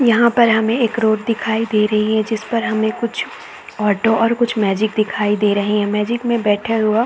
यहाँ पर हमें एक रोड दिखाई दे रही है जिस पर हमें कुछ ऑटो और कुछ मैजिक दिखाई दे रहे है मैजिक में बैठे हुआ--